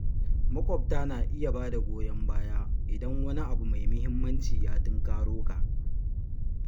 Maƙwabta na iya ba da goyon baya idan wani abu mai muhimmanci ya tunkaro ka.